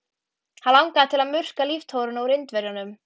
Hann langaði til að murka líftóruna úr Indverjanum.